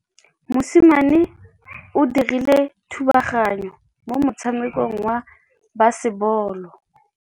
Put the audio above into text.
Mosimane o dirile thubaganyô mo motshamekong wa basebôlô.